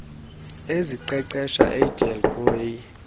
eziqeqesha edelq goa